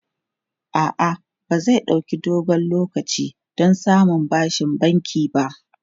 A'a, ba zai ɗauki dogon lokaci don samun bashin banki ba.